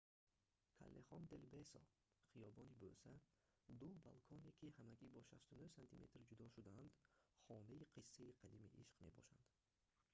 каллехон дел бесо хиёбони бӯса. ду балконе ки ҳамагӣ бо 69 сантиметр ҷудо шудаанд хонаи қиссаи қадимаи ишқ мебошанд